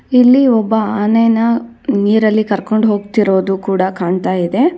ಎಲ್ಲಿ ಒಬ್ಬ ಆನೆಯನ್ನು ನೀರಿನಲ್ಲಿ ಕರ್ಕೊಂಡು ಹೋಗ್ತಾ ಇರೋದು ಕಾಣಿಸ್ತಾ ಇದೆ.